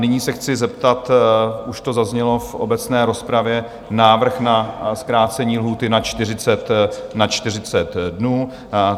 Nyní se chci zeptat, už to zaznělo v obecné rozpravě, návrh na zkrácení lhůty na 40 dnů.